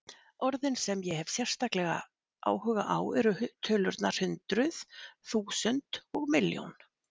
Orðin sem ég hef sérstaklega áhuga á eru tölurnar hundruð, þúsund, og milljón.